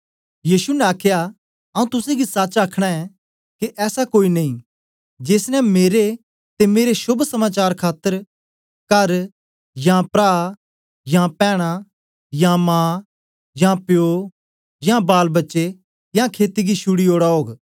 यीशु ने आखया आऊँ तुसेंगी सच आखना ऐं के ऐसा कोई नेई जेस ने मेरे ते मेरे शोभ समाचार खातर करयां प्रा यां पैनां यां मां यां प्यो यां बालबच्चे यां खेती गी छूडी ओड़ा ओग